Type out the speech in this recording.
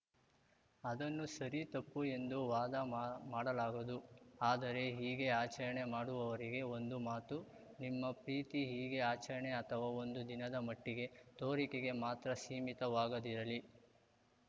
ಅದನ್ನು ಸರಿ ತಪ್ಪು ಎಂದು ವಾದ ಮಾಡಲಾಗದು ಆದರೆ ಹೀಗೆ ಆಚರಣೆ ಮಾಡುವವರಿಗೆ ಒಂದು ಮಾತು ನಿಮ್ಮ ಪ್ರೀತಿ ಹೀಗೆ ಆಚರಣೆ ಅಥವಾ ಒಂದು ದಿನದ ಮಟ್ಟಿಗೆ ತೋರಿಕೆಗೆ ಮಾತ್ರ ಸೀಮಿತವಾಗದಿರಲಿ